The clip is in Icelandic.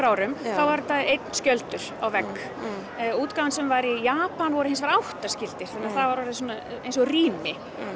árum var þetta einn skjöldur á vegg útgáfan sem var í Japan voru hins vegar átta skildir þannig að það var orðið eins og rými